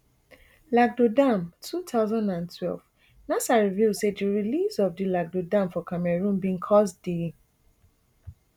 lagdo dam two thousand and twelve nasa reveal say di release of di lagdo dam for cameroon bin cause d